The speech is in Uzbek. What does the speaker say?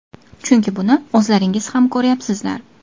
Chunki buni o‘zlaringiz ham ko‘ryapsizlar.